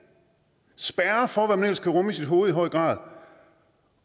spærrer for hvad man ellers kan rumme i sit hoved